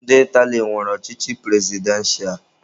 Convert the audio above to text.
Ndị Itali nwere ọchịchị prezidentịa.